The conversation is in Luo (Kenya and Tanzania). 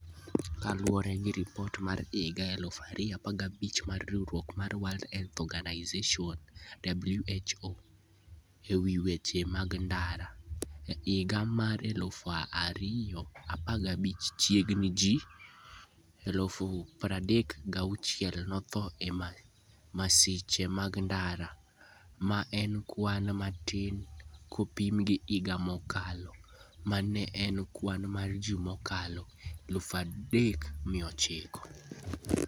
Kaluwore gi ripot mar higa 2015 mar riwruok mar World Health Organization (WHO) e wi weche mag ndara: E higa mar 2015, chiegni ji 3,6000 notho e masiche mag ndara, ma en kwan matin kopim gi higa mokalo, ma ne en kwan mar ji mokalo 3,900.